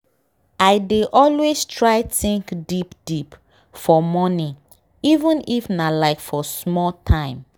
i dey always try think deep deep for morning even if nah like for small time